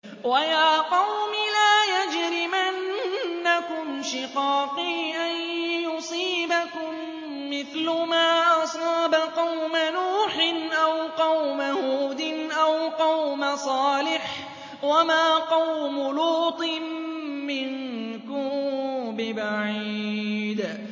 وَيَا قَوْمِ لَا يَجْرِمَنَّكُمْ شِقَاقِي أَن يُصِيبَكُم مِّثْلُ مَا أَصَابَ قَوْمَ نُوحٍ أَوْ قَوْمَ هُودٍ أَوْ قَوْمَ صَالِحٍ ۚ وَمَا قَوْمُ لُوطٍ مِّنكُم بِبَعِيدٍ